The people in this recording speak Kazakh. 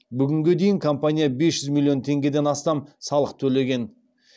бүгінге дейін компания бес жүз миллион теңгеден астам салық төлеген